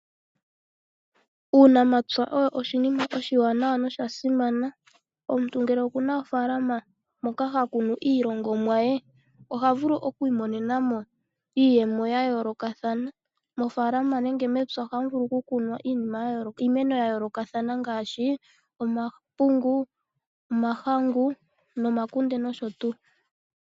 Uunamapya owo oshinima oshiwanawa nosha simana, omuntu ngele okuna ofalama moka ha kunu iilongomwa ye oha vulu oku imonenamo iiyemo ya yolo kathana. Mofalama nenge mepya ohamu vulu oku kunwa iimeno ya yoloka thana ngashi omapungu, omahangu, oomakunde noshotu.